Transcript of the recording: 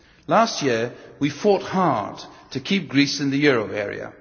Last year, we fought hard to keep Greece in the euro area.